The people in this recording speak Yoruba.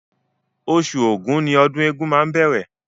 Oṣù Ògún ni ọdún egúngún máa bẹ̀rẹ̀